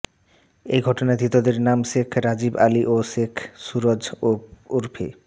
ওই ঘটনায় ধৃতদের নাম শেখ রাজীব আলি এবং শেখ সুরজ ওরফে